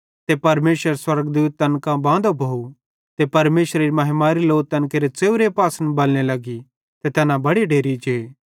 ते परमेशरेरो स्वर्गदूत तैन कां बांदो भोव ते परमेशरेरी महिमारी लो तैन केरे च़ेव्रे पासन बलने लगी ते तैना बड़े डेरि जे